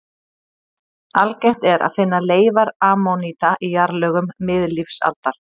Algengt er að finna leifar ammoníta í jarðlögum miðlífsaldar.